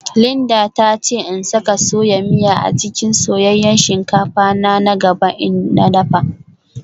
Linda ta ce in saka soya miya a cikin soyayyen shinkafa na na gaba in na dafa